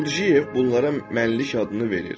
Qurciyev bunlara mənlik adını verir